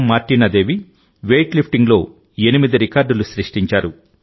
మార్టినా Devi weight lifting లో ఎనిమిది రికార్డులు సృష్టించారు